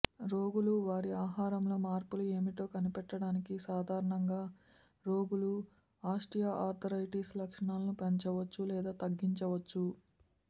రోగులు వారి ఆహారంలో మార్పులు ఏమిటో కనిపెట్టడానికి సాధారణంగా రోగులు ఆస్టియో ఆర్థరైటిస్ లక్షణాలను పెంచవచ్చు లేదా తగ్గించవచ్చు